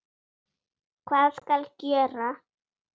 Hvað skal gjöra?